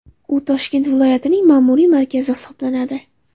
U Toshkent viloyatining ma’muriy markazi hisoblanadi.